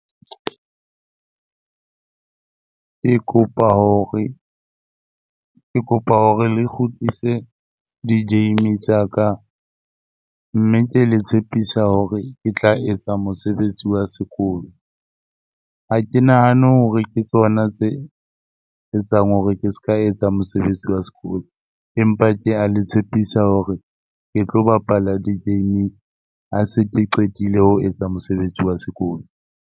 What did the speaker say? Ke kopa hore ke kopa hore le kgutlise di-game tsa ka mme ke le tshepisa hore ke tla etsa mosebetsi wa sekolo. Ha ke nahane hore ke tsona tse etsang hore ke ska etsa mosebetsi wa sekolo empa ke a le tshepisa hore ke tlo bapala di-game ha se ke qetile ho etsa mosebetsi wa sekolo.